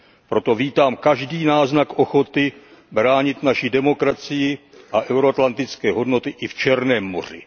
Proto vítám každý náznak ochoty bránit naši demokracii a euroatlantické hodnoty i v Černém moři.